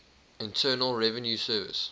internal revenue service